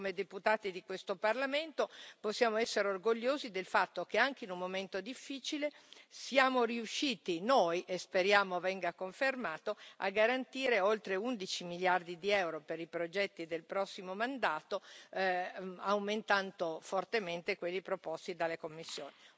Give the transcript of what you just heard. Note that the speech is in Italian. Oggi, come deputati di questo Parlamento, possiamo essere orgogliosi del fatto che anche in un momento difficile siamo riusciti e speriamo venga confermato a garantire oltre 11 miliardi di euro per i progetti del prossimo mandato, aumentando fortemente quelli proposti dalla Commissione.